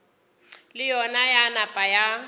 le yona ya napa ya